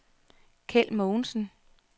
Kjeld Mogensen